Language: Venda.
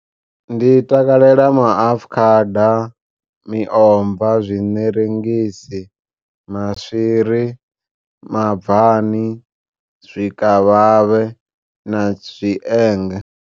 Ndi takalela maafukhada, miomva, zwiṋerengisi, maswiri, mabvani, zwikavhavhe na zwienge.